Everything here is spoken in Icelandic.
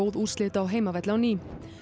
úrslit á heimavelli á ný